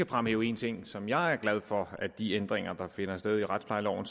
fremhæve en ting som jeg er glad for blandt de ændringer der finder sted i retsplejeloven